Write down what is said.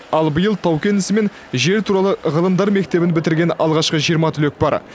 ал биыл тау кен ісі мен жер туралы ғылымдар мектебін бітірген алғашқы жиырма түлек бар